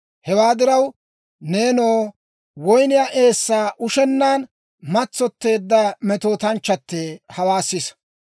Hewaa diraw, nenoo, woyniyaa eessaa ushennaan matsotteedda metootanchchattee, hawaa sisa.